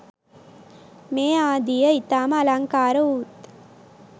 මේ ආදීය ඉතාම අලංකාරවූත්